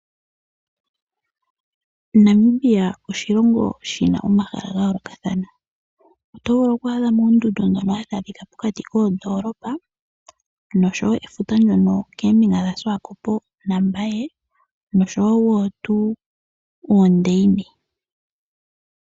Namibia oshilongo shina omahala gaayolokathana. Oto vulu oku adhamo oondundu ndhono hadhi adhika pokati koondolopa, efuta ndyono hali adhika keembinga dhashiwakopo nombaye, noshowo oondeine.